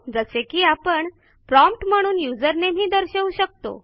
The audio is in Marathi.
जसे की आपण प्रॉम्प्ट म्हणून यूझर नामे ही दर्शवू शकतो